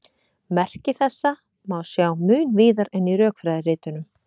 Merki þessa má sjá mun víðar en í rökfræðiritunum.